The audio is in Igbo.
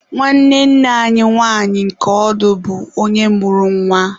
Nwanne nne anyi nwanyị nke ọdụ bụ onye mụrụ nwa.